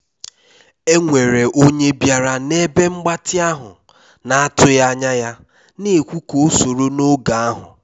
e nwere onye bịara na ebe mgbatị ahụ na atụghị anya ya na ekwu ka o soro n'oge ahu